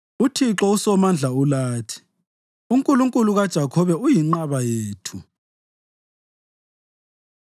UThixo uSomandla ulathi, uNkulunkulu kaJakhobe uyinqaba yethu.